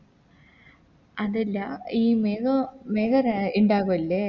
അതല്ല ഈ മേഘോ മേഘ ഇണ്ടാകു അല്ലെ